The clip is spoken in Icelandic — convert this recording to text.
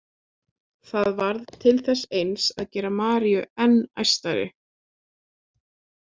Það varð til þess eins að gera Maríu enn æstari.